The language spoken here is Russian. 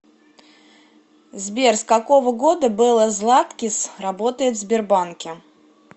сбер с какого года белла златкис работает в сбербанке